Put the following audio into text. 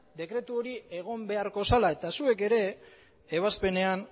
dekretu hori egon beharko zela eta zuek ere ebazpenean